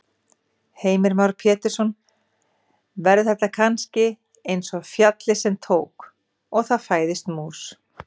Heimir Már Pétursson: Verður þetta kannski eins og fjallið sem tók. og það fæðist mús?